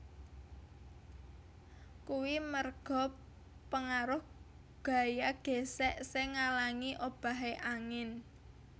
Kuwi merga pengaruh gaya gésék sing ngalangi obahe angin